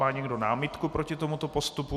Má někdo námitku proti tomuto postupu?